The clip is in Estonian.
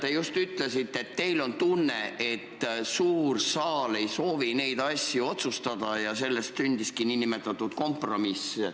Te just ütlesite, et teil on tunne, et suur saal ei soovi neid asju otsustada ja sellest sündiski niinimetatud kompromiss.